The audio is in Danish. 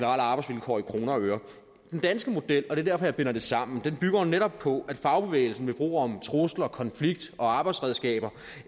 arbejdsvilkår i kroner og øre den danske model og det er derfor jeg binder det sammen bygger jo netop på at fagbevægelsen ved brug af trusler konflikt og arbejdsredskaber